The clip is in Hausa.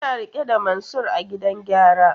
Suna rike da Mansur a gidan gyara.